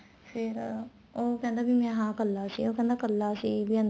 ਫ਼ੇਰ ਉਹ ਕਹਿੰਦਾ ਵੀ ਮੈਂ ਹਾਂ ਇੱਕਲਾ ਸੀ ਉਹ ਕਹਿੰਦਾ ਇੱਕਲਾ ਸੀ ਵੀ ਅੰਦਰ